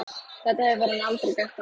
Þetta hefur hann aldrei gert áður.